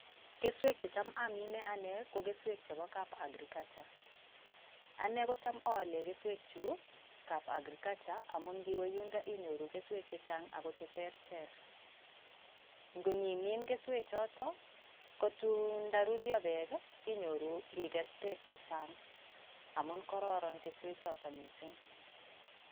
Keswek che cham amine ane ko keswek chebo kab agriculture. Ane ko cham aalen keswek chu kab agriculture amun ngiwe yundo inyoru keswek che chang ako che terter. Ngunyimin keswechoto, ko tun nda rurio peek inyoru ikes peek che chang, amun kororon keswechoto mising.